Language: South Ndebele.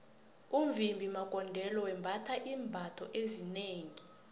umvimbi magondelo wembatha iimbatho ezinengi